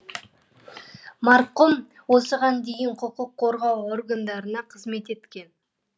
марқұм осыған дейін құқық қорғау органдарына қызмет еткен